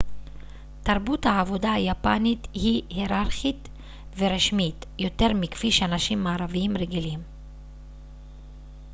תרבות העבודה היפנית היא היררכית ורשמית יותר מכפי שאנשים מערביים רגילים